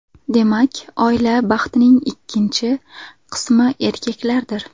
Demak, oila baxtining ikkinchi qismi erkaklardir.